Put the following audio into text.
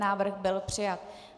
Návrh byl přijat.